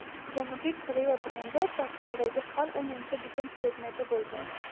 Janubiy Koreya brendi portaldagi har o‘ninchi bitim predmeti bo‘lgan.